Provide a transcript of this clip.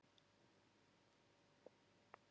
Æxlun á sér stað á vorin.